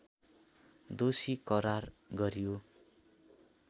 दोषी करार गरियो